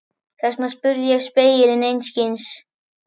Þess vegna spurði ég spegilinn einskis.